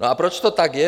No a proč to tak je?